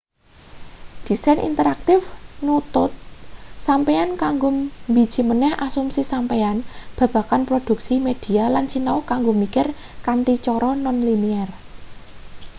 desain interaktif nuntut sampeyan kanggo mbiji maneh asumsi sampeyan babagan produksi media lan sinau kanggo mikir kanthi cara non-linear